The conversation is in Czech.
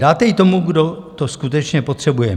Dáte ji tomu, kdo to skutečně potřebuje.